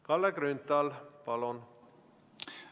Kalle Grünthal, palun!